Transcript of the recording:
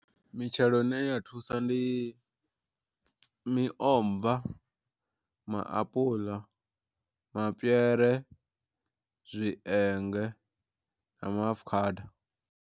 Mitshelo ine ya thusa ndi miomva, maapuḽa, mapiere, zwienge na maafukhada.